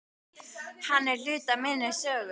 Hann er hluti af minni sögu.